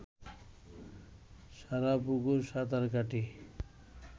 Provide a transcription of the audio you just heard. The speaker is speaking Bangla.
সারাপুকুর সাঁতার কাটি